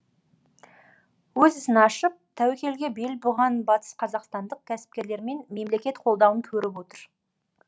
өз ісін ашып тәуекелге бел буған батыс қазақстандық кәсіпкерлер мемлекет қолдауын көріп отыр